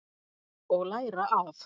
Og læra af.